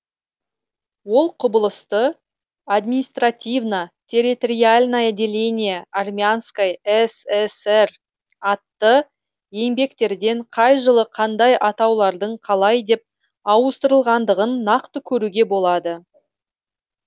ол құбылысты административно территориальное деление армянской сср атты еңбектерден қай жылы қандай атаулардың қалай деп ауыстырылғандығын нақты көруге болады